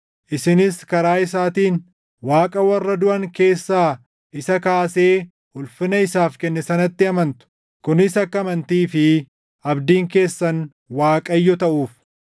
Isinis karaa isaatiin Waaqa warra duʼan keessaa isa kaasee ulfina isaaf kenne sanatti amantu; kunis akka amantii fi abdiin keessan Waaqayyo taʼuuf.